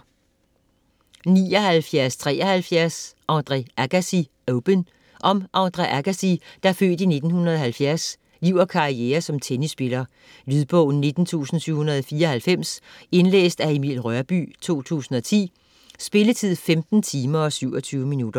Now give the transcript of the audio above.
79.73 Agassi, Andre: Open Om Andre Agassis (f. 1970) liv og karriere som tennisspiller. Lydbog 19794 Indlæst af Emil Rørbye, 2010. Spilletid: 15 timer, 27 minutter.